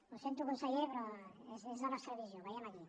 ho sento conseller però és la nostra visió ho veiem aquí